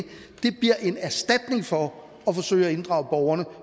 bliver en erstatning for at forsøge at inddrage borgerne